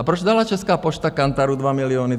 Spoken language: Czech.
A proč dala Česká pošta Kantaru 2 miliony?